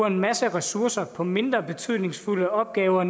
en masse ressourcer på mindre betydningsfulde opgaver